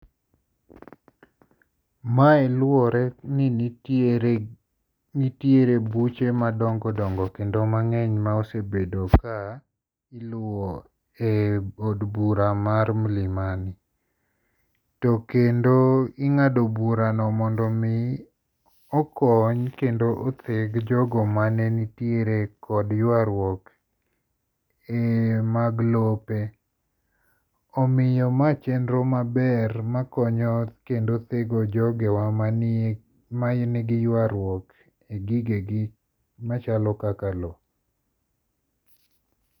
Mae luwore ni nitiere nitiere buche madongo dongo kendo mang'eny ma osebedo ka iluwo eod bura mar Milimani. To kendo ing'ado burano mondo mi okony kendo otheg jogho mane nitiere kod yuaruok e mag lope. Omiyo ma chenro maber makonyo jogewa man gi yuaruok e gigegi machalo mkaka lowo